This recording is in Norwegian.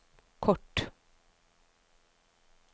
kort